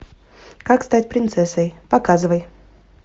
как стать принцессой показывай